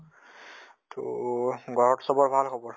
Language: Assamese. তʼ ঘৰত চবৰ ভাল খবৰ?